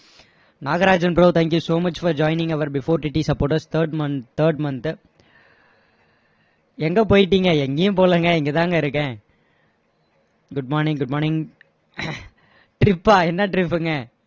Nagarajan bro thank you so much for joining our before TT supporters third month third month து எங்க போயிட்டீங்க எங்கேயும் போகலங்க இங்கதாங்க இருக்கேன் good morning good morning trip பா என்ன trip ங்க